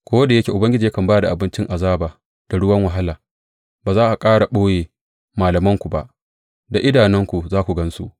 Ko da yake Ubangiji yakan ba da abincin azaba da ruwan wahala, ba za a ƙara ɓoye malamanku ba; da idanunku za ku gan su.